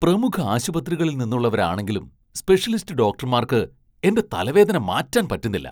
പ്രമുഖ ആശുപത്രികളിൽ നിന്നുള്ളവരാണെങ്കിലും സ്പെഷ്യലിസ്റ്റ് ഡോക്ടർമാർക്ക് എന്റെ തലവേദന മാറ്റാൻ പറ്റുന്നില്ല.